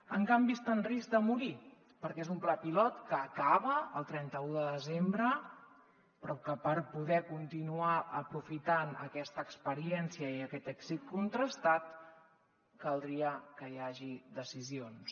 en canvi està en risc de morir perquè és un pla pilot que acaba el trenta un de desembre però que per poder continuar aprofitant aquesta experiència i aquest èxit contrastat caldria que hi hagués decisions